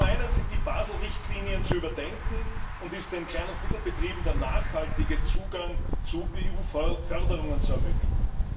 Zum einen sind die Basel Richtlinien zu überdenken und ist den Kleinen und Mittelbetrieben der nachhaltige Zugang zu EU Förderungen zu ermöglichen.